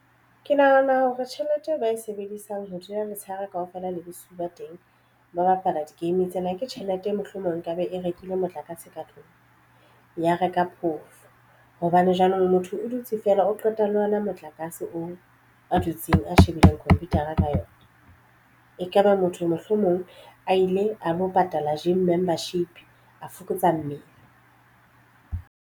Ke nahana hore tjhelete eo ba e sebedisang ho dula letshehare kaofela le bosiu ba teng. Ba bapala di-game tsena ke tjhelete mohlomong nkabe e rekile motlakase ka tlung ya reka phoofo hobane jwanong motho o dutse feela o qeta le ona motlakase oo a dutseng a shebileng computer-a ka yona ekaba motho mohlomong a ile a lo patala gym membership a fokotsa mmele.